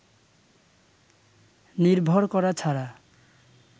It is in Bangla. নির্ভর করা ছাড়া